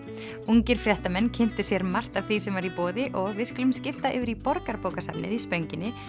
ungir fréttamenn kynntu sér margt af því sem var í boði og við skulum skipta yfir í Borgarbókasafnið í Spönginni